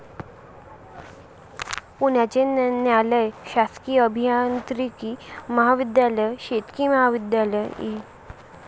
पुण्याचे न्यायालय, शासकीय अभियांत्रिकी महाविध्यालय, शेतकी महाविध्यालय, इ.